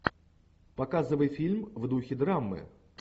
показывай фильм в духе драмы